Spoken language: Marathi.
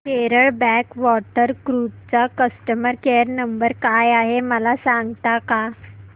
केरळ बॅकवॉटर क्रुझ चा कस्टमर केयर नंबर काय आहे मला सांगता का